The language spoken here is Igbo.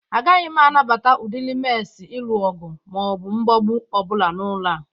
Agaghị m anabata udịrị nmesi ịlụ ọgụ ma ọ bụ mgbagbụ ọ bụla n'ụlọ a.